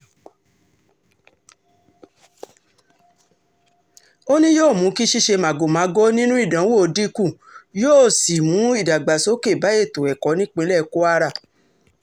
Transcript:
ó ní yóò mú kí ṣíṣe màgòmágó nínú ìdánwò dínkù yóò sì mú ìdàgbàsókè bá ètò ẹ̀kọ́ nípínlẹ̀ kwara